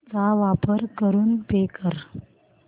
चा वापर करून पे कर